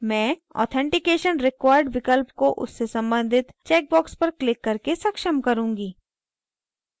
मैं authentication required विकल्प को उससे सम्बंधित चेक बॉक्स पर क्लिक करके सक्षम करुँगी